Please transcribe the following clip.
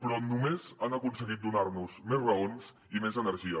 però només han aconseguit donar nos més raons i més energia